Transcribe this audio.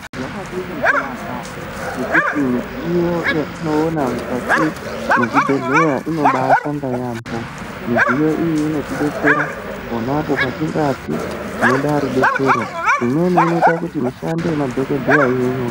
Zvakadini kunaka ngekuti midziyo yatinoona mukati mwezvibhedhleya inobashanda yaamho. Midziyo iyi inotibetsera ponapo patingati tinoda rubetsero. Imweni inoita kuti mishando yemadhogodheya ive nyore.